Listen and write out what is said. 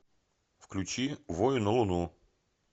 включи вою на луну